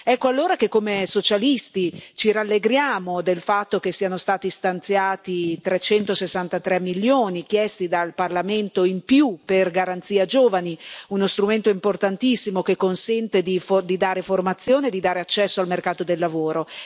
Ecco allora che, come socialisti, ci rallegriamo del fatto che siano stati stanziati 363 milioni chiesti dal Parlamento in più per Garanzia giovani, uno strumento importantissimo che consente di dare formazione e di dare accesso al mercato del lavoro.